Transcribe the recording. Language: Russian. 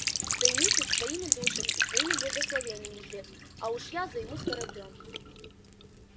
займитесь своими душами и своими благословениями жрец а уж я займусь кораблём